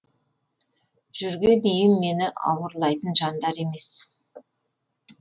жүрген үйім мені ауырлайтын жандар емес